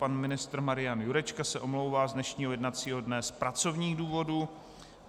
Pan ministr Marian Jurečka se omlouvá z dnešního jednacího dne z pracovních důvodů.